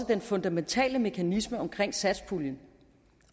den fundamentale mekanisme omkring satspuljen